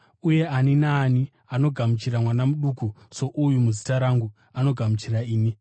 “Uye ani naani anogamuchira mwana muduku souyu muzita rangu anogamuchira ini.